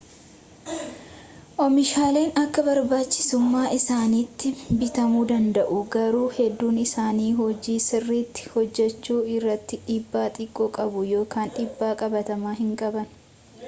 oomishaaleen akka barbaachisummaa isaaniitti bitamuu danada'u garuu hedduun isaanii hojii sirriitti hojjechuu irratti dhiibbaa xiqqoo qabu ykn dhiibbaa qabatamaa hinqaban